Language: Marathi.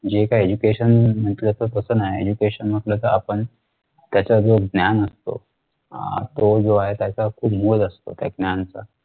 जे काही education म्हंटल तर तस नाही education म्हंटल तर आपण त्याच्या जो ज्ञान असतो अह तो जो आहे त्याचा खूप मोल असतो. त्या ज्ञान चा